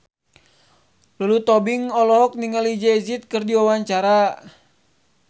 Lulu Tobing olohok ningali Jay Z keur diwawancara